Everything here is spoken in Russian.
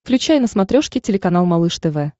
включай на смотрешке телеканал малыш тв